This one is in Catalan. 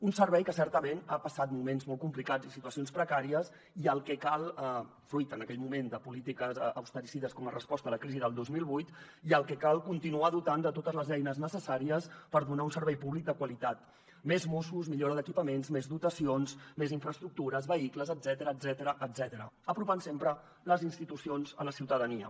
un servei que certament ha passat moments molt complicats i situacions precàries i al que cal fruit en aquell moment de polítiques austericides com a resposta a la crisi del dos mil vuit continuar dotant de totes les eines necessàries per donar un servei públic de qualitat més mossos millora d’equipaments més dotacions més infraestructures vehicles etcètera apropant sempre les institucions a la ciutadania